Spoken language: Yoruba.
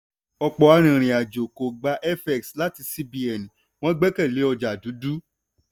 ọ̀pọ̀ arìnrìn-àjò kò gba fx láti cbn wọ́n gbẹ́kẹ̀lé ọjà dúdú.